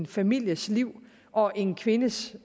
families liv og en kvindes